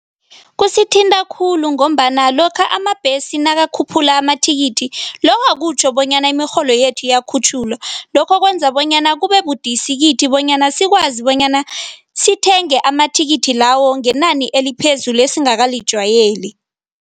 Kusithinta khulu ngombana lokha amabhesi nakukhuphula amathikithi, lokha akutjho bonyana imirholo yethu iyakhutjhulwa. Lokho kwenza bonyana kubebudisi kithi bonyana sikwazi bonyana sithenge amathikithi lawo ngenani eliphezulu, esingakalijwayeli.